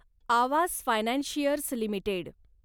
Awas financiers limited